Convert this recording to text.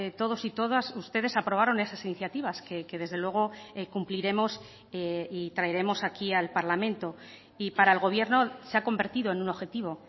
todos y todas ustedes aprobaron esas iniciativas que desde luego cumpliremos y traeremos aquí al parlamento y para el gobierno se ha convertido en un objetivo